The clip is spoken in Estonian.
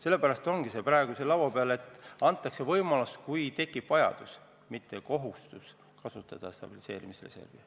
Seepärast ongi see teema praegu laua peal, et anda võimalus – kui tekib vajadus –, mitte kohustus kasutada stabiliseerimisreservi.